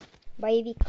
боевик